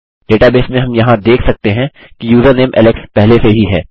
database में हम यहाँ देख सकते हैं कि यूज़रनेम एलेक्स पहले से ही है